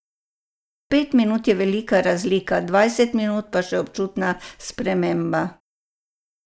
Pet minut je velika razlika, dvajset minut pa že občutna sprememba.